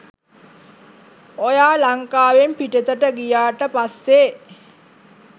ඔයා ලංකාවෙන් පිටතට ගියාට පස්සෙ